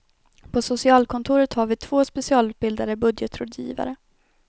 På socialkontoret har vi två specialutbildade budgetrådgivare.